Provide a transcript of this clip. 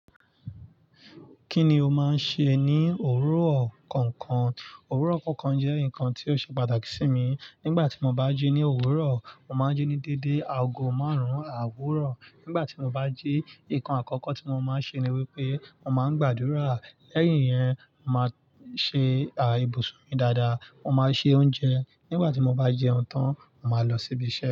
Kí ni o máa ń ṣe ní òwúrọ̀ kọ̀ọ̀kan? Òwúrọ̀ kọ̀ọ̀kan jẹ́ nǹkan tí ó ṣe pàtàkì sí mi. Nígbà tí mo bá jí ní òwúrọ̀, mo máa ń jí ní dédé aago márùn-ún àwúrọ̀. Nígbà tí mo bá jí, nǹkan àkọ́kọ́ tí mo máa ń ṣe ni wípé mo máa ń gbàdúrà. Lẹ́yìn yẹn, mo máa ṣe à ìbò sùn mi dáadáa, mo máa ṣe oúnjẹ. Nígbà tí mo bá jẹun tán, mo máa lọ síbi iṣẹ́.